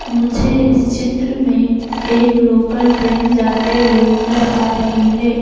मुझे इस चित्र में एक लोकल ट्रेन जाते हुए नजर आ रही हैं ।